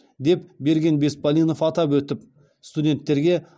деп берген беспалинов атап өтіп студенттерге